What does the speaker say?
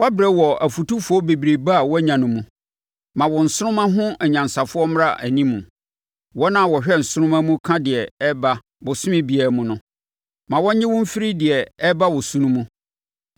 Woabrɛ wɔ afotufoɔ bebrebe a woanya no mu! Ma wo nsoromma ho anyansafoɔ mmra anim, wɔn a wɔhwɛ nsoromma mu no ka deɛ ɛreba bosome biara mu no, ma wɔnnnye wo mfiri deɛ ɛreba wo so no mu.